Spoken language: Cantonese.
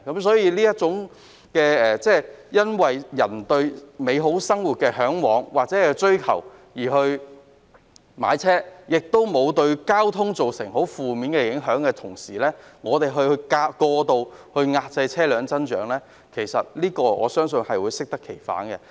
所以，如果市民只為嚮往或追求美好的生活而買車，而沒有對交通造成負面影響，我相信過度遏制車輛增長只會適得其反。